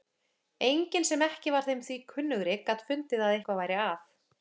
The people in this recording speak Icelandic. Enginn sem ekki var þeim því kunnugri gat fundið að eitthvað væri að.